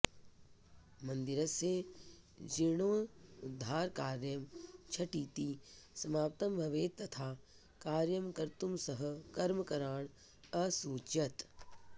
मन्दिरस्य जिर्णोद्धारकार्यं झटिति समाप्तं भवेत् तथा कार्यं कर्तुं सः कर्मकरान् असूचयत्